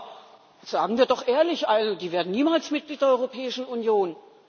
Aber sagen wir doch ehrlich Die werden niemals Mitglied der Europäischen Union.